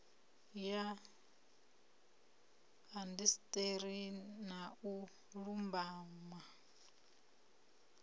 ya indasiṱeri na u lumbama